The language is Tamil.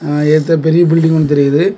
அஅ எதற்க ஒரு பெரிய பில்டிங் ஒன்னு தெரியுது.